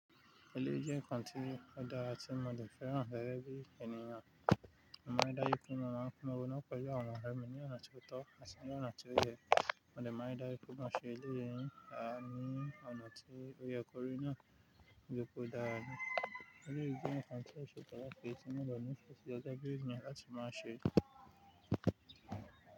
Eléyìí jẹ́ nkan ti ọ̀dàra tí mo dẹ fẹ́ràn gẹ́gẹ̀ bí ènìyàn. Ọmọ aìdáyú fún mi máa ń mú ònà kọ́ ìjẹ́ ọmọ mi ní ọ̀nà tí ó tọ́, àti ní ọ̀nà tí ó yẹ. Mo de ma ri dájú pe mo ṣe eléyìí, ni à ní ọ̀nà tí ó yẹ kórí náà toripe o dára naa. Eléyìí jẹ́ nkan ti ọ̀ṣẹ́ pataki tí mo dẹ ní fẹsi gẹgẹ bí ènìyàn láti máa ṣe.